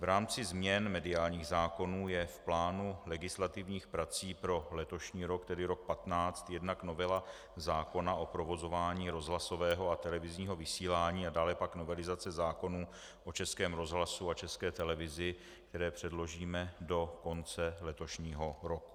V rámci změn mediálních zákonů je v plánu legislativních prací pro letošní rok, tedy rok 2015, jednak novela zákona o provozování rozhlasového a televizního vysílání a dále pak novelizace zákonů o Českém rozhlasu a České televizi, které předložíme do konce letošního roku.